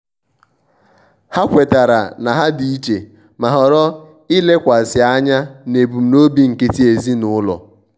ha kwetara na ha di iche ma họrọ ilekwasi anya n'ebumnobi nkịtị ezinụlọ.